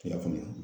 Kile kɔnɔ